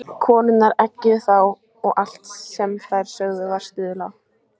Konurnar eggjuðu þá og allt sem þær sögðu var stuðlað.